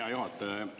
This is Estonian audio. Hea juhataja!